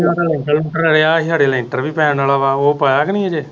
ਲੈਂਟਰ ਲੁੰਟਰ ਅੜਿਆ ਹੀ ਹਾਡੇ ਲੈਂਟਰ ਵੀ ਪੈਣ ਵਾਲਾ ਵਾ ਉਹ ਪਾਇਆ ਕੇ ਨਹੀਂ ਅਜੇ